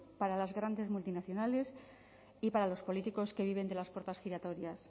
para las grandes multinacionales y para los políticos que viven de las puertas giratorias